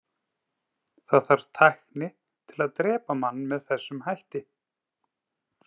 Það þarf tækni til að drepa mann með þessum hætti.